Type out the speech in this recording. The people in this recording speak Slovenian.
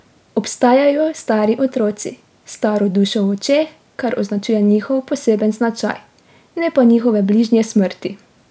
Obstajajo stari otroci, s staro dušo v očeh, kar označuje njihov poseben značaj, ne pa njihove bližnje smrti.